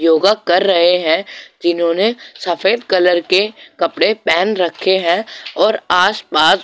योगा कर रहे है जिन्होंने सफेद कलर के कपड़े पहन रखे है और आसपास --